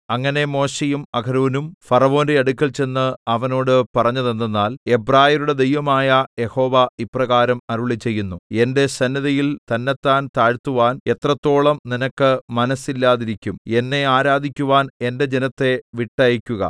അങ്ങനെ മോശെയും അഹരോനും ഫറവോന്റെ അടുക്കൽ ചെന്ന് അവനോട് പറഞ്ഞതെന്തെന്നാൽ എബ്രായരുടെ ദൈവമായ യഹോവ ഇപ്രകാരം അരുളിച്ചെയ്യുന്നു എന്റെ സന്നിധിയിൽ തന്നെത്താൻ താഴ്ത്തുവാൻ എത്രത്തോളം നിനക്ക് മനസ്സില്ലാതിരിക്കും എന്നെ ആരാധിക്കുവാൻ എന്റെ ജനത്തെ വിട്ടയയ്ക്കുക